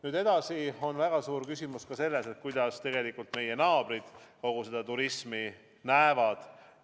Nüüd edasi on väga suur küsimus ka selles, kuidas meie naabrid kogu seda turismi näevad.